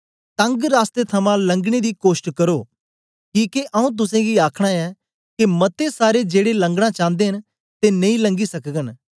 तंग रास्ते थमां लंगने दी कोष्ट करो किके आऊँ तुसेंगी आखना ऐं के मते सारे जेड़े लंगना चांदे न ते नेई लंगी सकगन